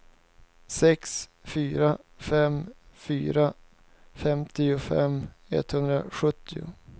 sex fyra fem fyra femtiofem etthundrasjuttio